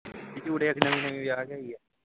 ਚੂੜੇ ਇੱਕ ਨਵੀਂ ਨਵੀਂ ਵਿਆਹ ਕੇ ਆਈ ਹੈ